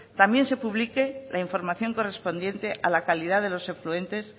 también se publique la información correspondiente a la calidad de los afluentes